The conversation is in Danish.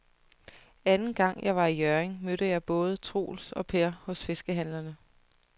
Anden gang jeg var i Hjørring, mødte jeg både Troels og Per hos fiskehandlerne.